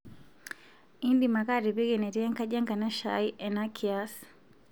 indim ake atipika enetii enkaji e nkanashe aai ena kiaas